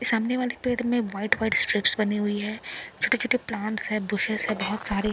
सामने वाले पेड़ में व्हाइट व्हाइट चेक्स बनी हुई है छोटे छोटे प्लांट्स हैं बुशेष है बहोत सारे।